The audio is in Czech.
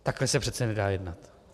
Takhle se přece nedá jednat.